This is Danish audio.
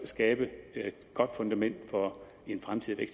skabe et godt fundament for en fremtidig